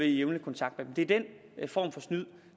i jævnlig kontakt med dem det er den form for snyd